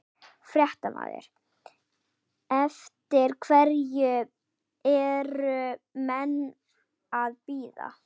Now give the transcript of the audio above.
Fréttamaður: Eftir hverju eru menn að bíða?